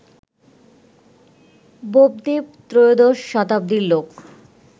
বোপদেব ত্রয়োদশ শতাব্দীর লোক